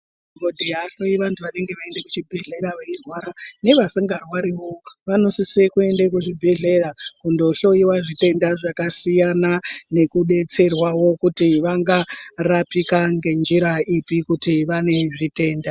Madhokodheya ahloyi vantu vanenge vaende ku chibhedhleya vei rwara ne vasinga rwariwo vano sise kuende ku zvibhedhleya kundo hloyiwa zvitenda zvaka siyana neku detserwawo kuti vanga rapika nge njira ipi kuti vane zvitenda.